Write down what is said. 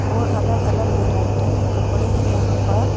और अलग-अलग वैरायटी के कपड़े हैं यहां पर--